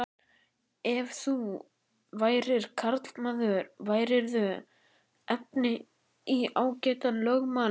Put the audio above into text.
Ef þú værir karlmaður værirðu efni í ágætan lögmann.